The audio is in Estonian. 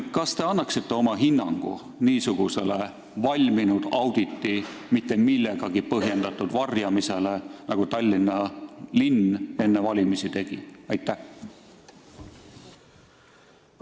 Kas te annaksite oma hinnangu niisugusele valminud auditi mitte millegagi põhjendatud varjamisele, nagu Tallinna linn enne valimisi tegi?